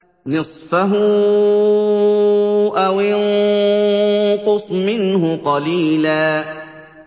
نِّصْفَهُ أَوِ انقُصْ مِنْهُ قَلِيلًا